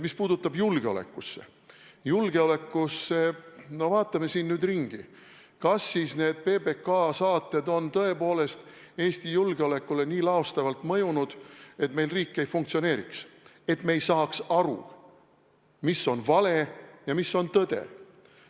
Mis puutub julgeolekusse – no vaatame siin ringi, kas need PBK saated on tõepoolest Eesti julgeolekule nii laastavalt mõjunud, et meil riik ei funktsioneeri, et me ei saa aru, mis on vale ja mis on tõde?